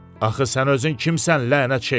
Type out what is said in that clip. Axı sən özün kimsən, lənət şeytana?